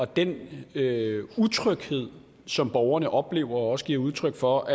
den utryghed som borgerne oplever og også giver udtryk for